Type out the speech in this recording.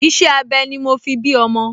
Iṣẹ́-abẹ ni mo fi bí ọmọ